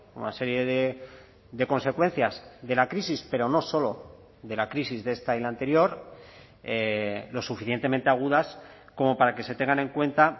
una serie de consecuencias de la crisis pero no solo de la crisis de esta y la anterior lo suficientemente agudas como para que se tengan en cuenta